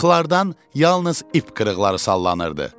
Mıxlardan yalnız ip qırıqları sallanırdı.